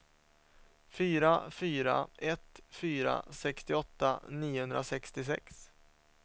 fyra fyra ett fyra sextioåtta niohundrasextiosex